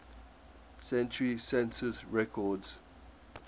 century census records